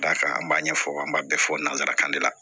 Dakan an b'a ɲɛfɔ an b'a bɛɛ fɔ nanzarakan de la